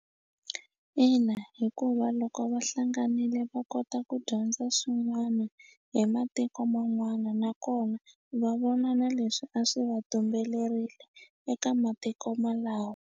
Ina hikuva loko va hlanganile va kota ku dyondza swin'wana hi matiko man'wana nakona va vona na leswi a swi va tumbelerile eka matiko malawo.